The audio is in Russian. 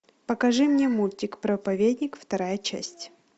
покажи мне мультик проповедник вторая часть